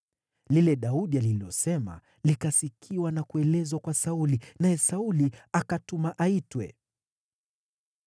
Lile Daudi alilosema likasikiwa na kuelezwa kwa Sauli, naye Sauli akatuma aitwe.